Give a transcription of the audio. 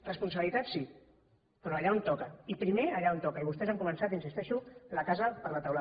responsabilitat sí però allà on toca i primer allà on toca i vostès han començat hi insisteixo la casa per la teulada